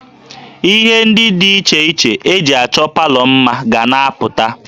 Ihe ndị dị iche iche e ji achọ palọ mma ga na-apụta